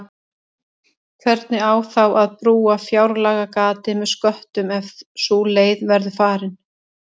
Hvernig á þá að brúa fjárlagagatið með sköttum ef sú leið verður farin?